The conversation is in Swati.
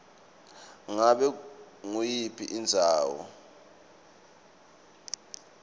ngabe nguyiphi indzawo